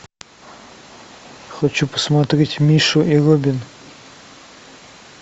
хочу посмотреть мишу и робин